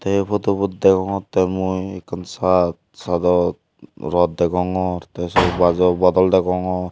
ei photobut degogottey mui ekken shad shadot rot degongor tey sot gajo bagol degongor.